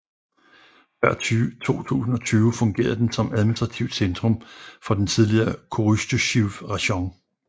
Før 2020 fungerede den som administrativt centrum for den tidligere Korostysjiv rajon